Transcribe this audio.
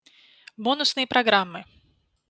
бонусные программы